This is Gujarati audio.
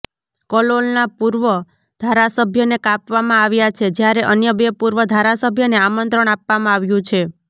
કલોલના પુર્વ ધારાસભ્યને કાપવામાં આવ્યા છે જ્યારે અન્ય બે પુર્વ ધારાસભ્યને આમંત્રણ આપવામાં આવ્યુ છે